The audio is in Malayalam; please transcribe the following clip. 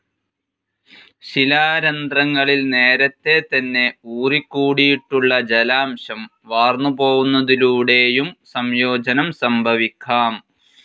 ശിലാരന്ധ്രങ്ങളിൽ നേരത്തേതന്നെ ഊറിക്കൂടിയിട്ടുള്ള ജലാംശം വാർന്നുപോവുന്നതിലൂടെയും സംയോജനം സംഭവിക്കാം.